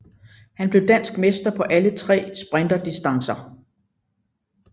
Han blev dansk mester på alle tre sprinterdistancer